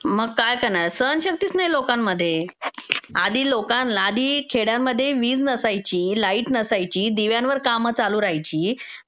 मग काय करणार सहनशक्तीच नाहीये लोकांमध्ये. आधी लोकांना -- आधी खेड्यामध्ये वीज नसायची, लाईट नसायची, दिव्यांवर कामं चालू राहायची.